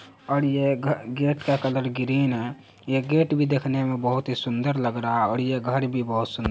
और ये ग-गेट का कलर ग्रीन है। ये गेट भी देखने मे भी बहुत ही सुंदर लग रहा है और ये घर भी बहुत सुंद--